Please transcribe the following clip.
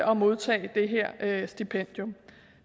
og modtage det her stipendium